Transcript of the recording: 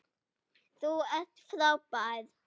Þú ert frábær!